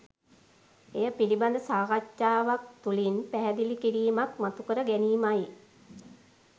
එය පිළිබඳ සාකච්ඡාවක් තුලින් පැහැදිලි කිරීමක් මතුකර ගැනීමයි.